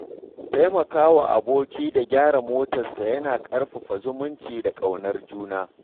Taimaka wa aboki da gyaran motarsa yana ƙarfafa zumunci da ƙaunar juna.